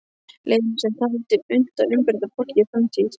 Lenu sem taldi unnt að umbreyta fortíð í framtíð.